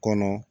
Kɔnɔ